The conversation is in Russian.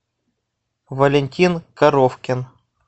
валентин коровкин